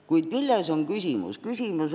Kuid milles on küsimus?